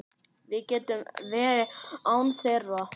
Við getum verið án þeirra.